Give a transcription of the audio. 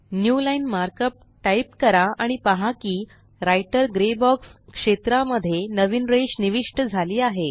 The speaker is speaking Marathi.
न्यूलाईन मार्कअप टाइप करा आणि पहा की राइटर ग्रे बॉक्स क्षेत्रा मध्ये नवीन रेष निविष्ट झाली आहे